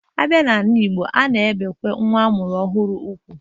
Abịa n'ala igbo, a na-ebekwa nwa amụrụ ọhụrụ ugwu